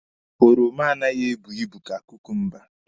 Oromo anaghị ebu ibu ka kukumba.